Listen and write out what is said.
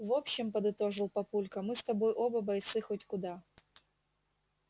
в общем подытожил папулька мы с тобой оба бойцы хоть куда